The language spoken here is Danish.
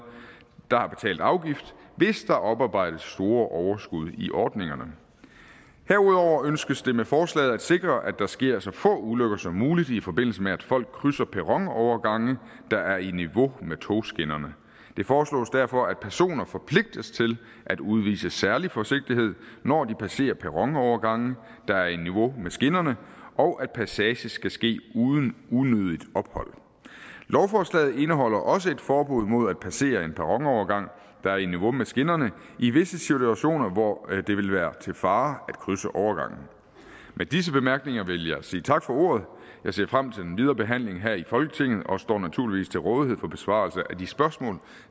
der har betalt afgift hvis der oparbejdes store overskud i ordningerne herudover ønskes det med forslaget at sikre at der sker så få ulykker så muligt i forbindelse med at folk krydser perronovergange der er i niveau med togskinnerne det foreslås derfor at personer forpligtes til at udvise særlig forsigtighed når de passerer perronovergange der er i niveau med skinnerne og at passage skal ske uden unødigt ophold lovforslaget indeholder også et forbud mod at passere en perronovergang der er i niveau med skinnerne i visse situationer hvor det vil være til fare at krydse overgangen med disse bemærkninger vil jeg sige tak for ordet jeg ser frem til den videre behandling her i folketinget og står naturligvis til rådighed for besvarelse af de spørgsmål